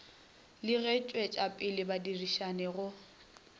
le go tšwetšapele badirišani go